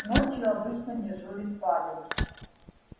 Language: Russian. ночью обычно дежурит павел